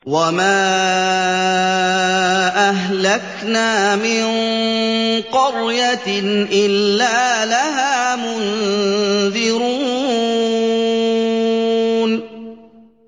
وَمَا أَهْلَكْنَا مِن قَرْيَةٍ إِلَّا لَهَا مُنذِرُونَ